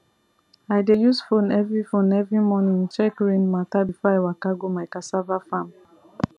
i dey use phone every phone every morning check rain matter before i waka go my cassava farm